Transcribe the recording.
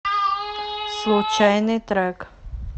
случайный трек